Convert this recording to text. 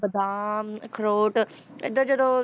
ਬਾਦਾਮ, ਅਖਰੋਟ ਏਦਾਂ ਜਦੋਂ